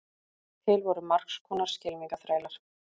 til voru margs konar skylmingaþrælar